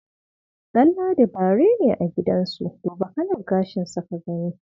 Danladi bare ne a gidansu, duba kalar gashinsa ka gani.